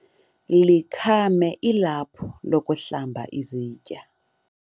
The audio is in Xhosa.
likhame ilaphu lokuhlamba izitya